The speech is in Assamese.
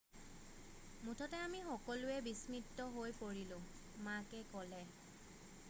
মুঠতে আমি সকলোৱে বিস্মিত হৈ পৰিলোঁ মাকে ক'লে